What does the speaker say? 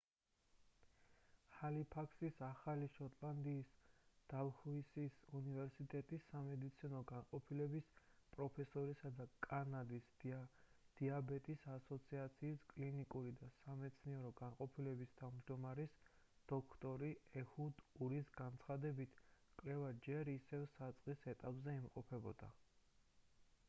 ჰალიფაქსის ახალი შოტლანდიის დალჰუსის უნივერსიტეტის სამედიცინო განყოფილების პროფესორისა და კანადის დიაბეტის ასოციაციის კლინიკური და სამეცნიერო განყოფილების თავმჯდომარის დოქტორი ეჰუდ ურის განცხადებით კვლევა ჯერ ისევ საწყის ეტაპზე იმყოფებოდა